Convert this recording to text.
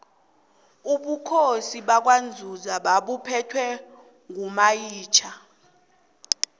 ubukhosi bakwanzunza babuphetwe ngomayitjha